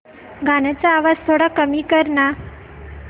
गाण्याचा आवाज थोडा कमी कर ना